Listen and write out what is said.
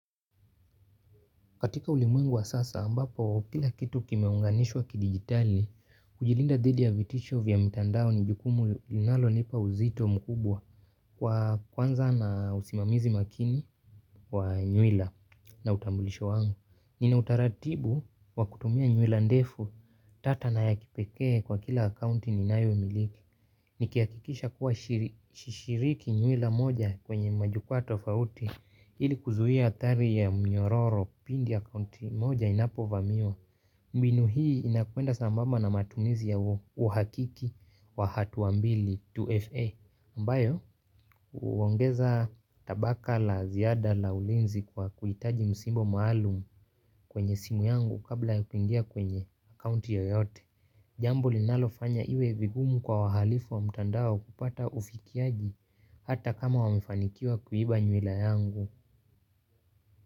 Katika ulimwengu wa sasa ambapo, kila kitu kimeunganishwa kidigitali, kujilinda dhidi ya vitisho vya mitandao ni jukumu linalo nipa uzito mkubwa kwa kwanza na usimamizi makini wa nyuila na utambulisho wangu. Nina utaratibu wakutumia nywila ndefu tata na ya kipeke kwa kila akaunti ninayo miliki. Nikihakikisha kuwa sishiriki nyuwila moja kwenye majukua tofauti ili kuzuwia hatari ya mnyororo pindi akaunti moja inapo vamiwa. Mbinu hii inakuenda sambaba na matumizi ya uhakiki wa hatua mbili 2FA ambayo huongeza tabaka la ziada la ulinzi kwa kuhitaji msimbo maalum kwenye simu yangu kabla yakuingia kwenye akaunti yoyote. Jambo linalofanya iwe vigumu kwa wahalifu wa mtandao kupata ufikiaji hata kama wamefanikiwa kuiba nyuila yangu.